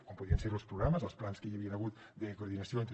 com podrien ser ho els programes o els plans que hi havia hagut de coordinació entre